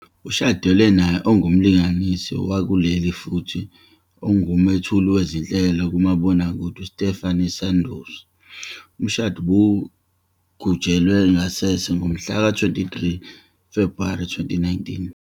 Ushadelwe naye ongumlingisi wakuleli, futhi ongumethuli wezinhlelo kumabonakude uStephanie Sandows. Umshado ubugujwe ngasese ngomhlaka 23 Febhuwari 2019.